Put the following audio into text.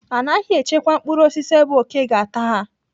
Anaghị echekwa mkpụrụ osisi ebe òké ga-ata ha..